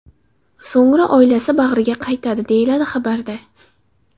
So‘ngra oilasi bag‘riga qaytadi”, deyiladi xabarda.